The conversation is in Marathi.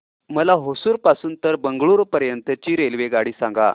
मला होसुर पासून तर बंगळुरू पर्यंत ची रेल्वेगाडी सांगा